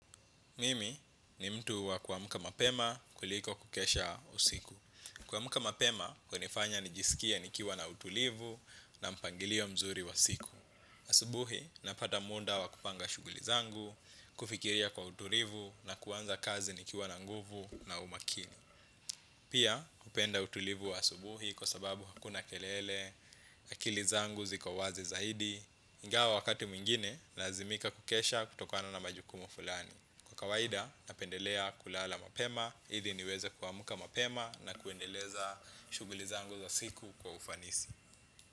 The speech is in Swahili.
Mimi ni mtu wa kuamka mapema kuliko kukesha usiku. Kuamka mapema, hunifanya nijisikie nikiwa na utulivu na mpangilio mzuri wa siku. Asubuhi, napata muda wa kupanga shughuli zangu, kufikiria kwa utulivu na kuanza kazi nikiwa na nguvu na umakini. Pia, hupenda utulivu wa asubuhi kwa sababu hakuna kelele, akili zangu ziko wazi zaidi. Ingawa wakati mwingine, nalazimika kukesha kutokana na majukumu fulani. Kwa kawaida, napendelea kulala mapema, ili niweze kuamka mapema na kuendeleza shughuli zangu za siku kwa ufanisi.